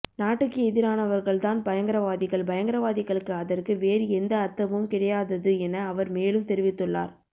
நாட்டுக்கு எதிரானவர்கள் தான் பயங்கரவாதிகள் பயங்கரவாதிகளுக்கு அதற்கு வேறு எந்த அர்த்தமும் கிடையாதது என அவர் மேலும் தெரிவித்துள்ளார்